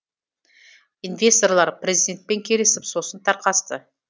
инвесторлар президентпен келісіп сосын тарқасты